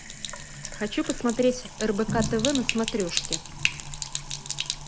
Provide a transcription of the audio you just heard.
хочу посмотреть рбк тв на смотрешке